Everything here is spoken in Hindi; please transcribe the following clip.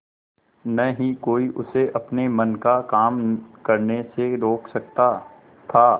न ही कोई उसे अपने मन का काम करने से रोक सकता था